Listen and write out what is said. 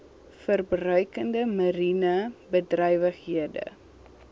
verbruikende mariene bedrywighede